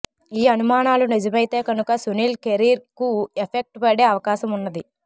ఈ అనుమానాలు నిజమైతే కనుక సునీల్ కెరీర్ కు ఎఫెక్ట్ పడే అవకాశం ఉన్నది